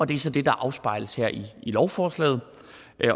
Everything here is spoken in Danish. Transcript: det er så det der afspejles her i lovforslaget